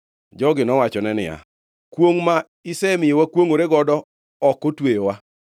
Jogi nowachone niya, “Kwongʼ ma isemiyo wakwongʼore godo ok otweyowa,